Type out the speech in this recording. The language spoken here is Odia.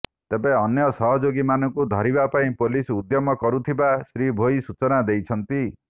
ତେବେ ଅନ୍ୟ ସହଯୋଗୀମାନଙ୍କୁ ଧରିବା ପାଇଁ ପୋଲିସ ଉଦ୍ୟମ କରୁଥିବା ଶ୍ରୀ ଭୋଇ ସୂଚନା ଦେଇଛନ୍ତି